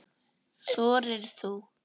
Þorir þú?